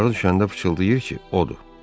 Aşağı düşəndə fısıldıyır ki, odur.